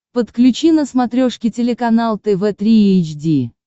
подключи на смотрешке телеканал тв три эйч ди